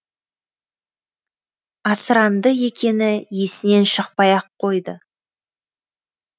асыранды екені есінен шықпай ақ қойды